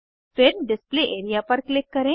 फिर display area पर click करें